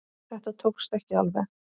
Þetta tókst ekki alveg.